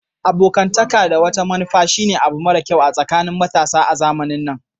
Abokantaka da wata manufa shine abu mara kyau a tsakanin matasa a zamanin nan.